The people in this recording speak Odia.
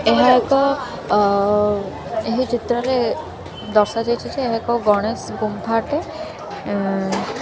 ଏହା ଏକ ଅ ଏହି ଚିତ୍ରରେ ଦର୍ଶାଯାଇଛି ଯେ ଏହା ଏକ ଗଣେଶ ଗୁମ୍ଫାଟେ ଉଁ --